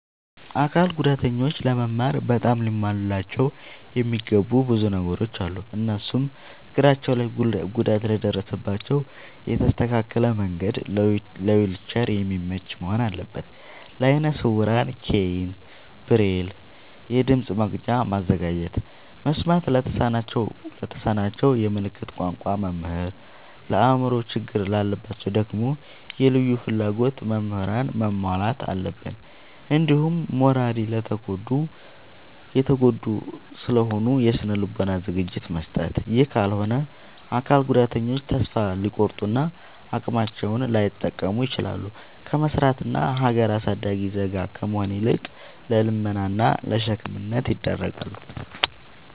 አካል ጉዳተኞች ለመማር በጣም ሊሟሉላቸው የሚገቡ ብዙ ነገሮ አሉ። እነሱም፦ እግራቸው ላይ ጉዳት ለደረሰባቸው የተስተካከለ መንድ ለዊልቸር የሚመች መሆን አለበት። ለአይነ ስውራን ኬይን፣ ብሬል፤ የድምፅ መቅጃ ማዘጋጀት፤ መስማት ለተሳናቸው የምልክት ቋንቋ መምህር፤ የአእምሮ ችግር ላለባቸው ደግሞ የልዩ ፍላጎት ምህራንን ማሟላት አለብትን። እንዲሁም ማራሊ የተጎዱ ስለሆኑ የስነ ልቦና ዝግጅት መስጠት። ይህ ካልሆነ አካል ጉዳተኞች ተሰፋ ሊቆርጡ እና አቅማቸውን ላይጠቀሙ ይችላሉ። ከመስራት እና ሀገር አሳዳጊ ዜጋ ከመሆን ይልቅ ለልመና እና ለሸክምነት ይዳረጋሉ።